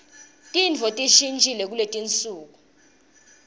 tintfo tishintjile kuletinsuku